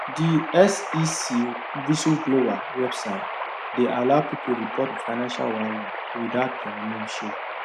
the sec whistleblower website dey allow people report financial wahala without their name show